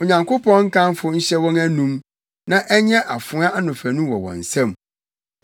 Onyankopɔn nkamfo nhyɛ wɔn anom, na ɛnyɛ afoa anofanu wɔ wɔn nsam,